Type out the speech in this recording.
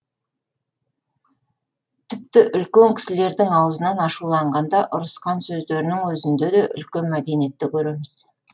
тіпті үлкен кісілердің аузынан ашуланғанда ұрысқан сөздерінің өзінде де үлкен мәдениетті көреміз